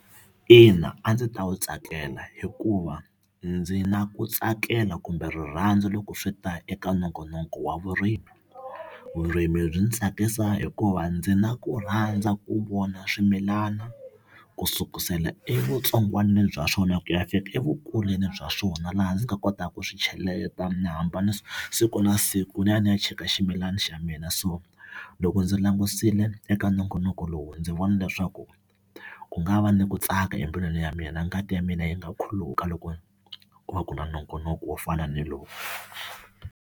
Ina, a ndzi ta wu tsakela hikuva ndzi na ku tsakela kumbe rirhandzu loko swi ta eka nongonoko wa vurimi vurimi byi ndzi tsakisa hikuva ndzi na ku rhandza ku vona swimilana ku sukusela evutsongwanini bya swona ku ya fika evukulwini bya swona laha ndzi nga kotaka ku swi cheleta ni hamba ni siku na siku ni ya ni ya cheka ximilana xa mina so loko ndzi langusile eka nongonoko lowu ndzi vona leswaku ku nga va ni ku tsaka embilwini ya mina ngati ya mina yi nga khuluka loko ku va ku na nongonoko wo fana ni lowu.